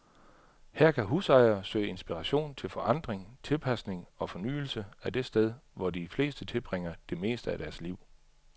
Her kan husejere søge inspiration til forandring, tilpasning og fornyelse af det sted, hvor de fleste tilbringer det meste af deres liv.